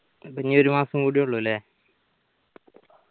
അപ്പൊ ഇനി ഒരു മാസം കൂടി ഉള്ളൂ ല്ലേ